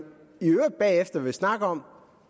at venstre